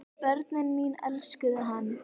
Börnin mín elskuðu hann.